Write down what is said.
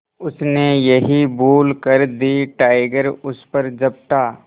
उसने यही भूल कर दी टाइगर उस पर झपटा